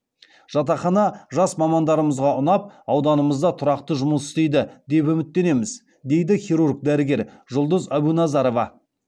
жатақхана жас мамандарымызға ұнап ауданымызда тұрақты жұмыс істейді деп үміттенеміз дейді хирург дәрігер жұлдыз әбуназарова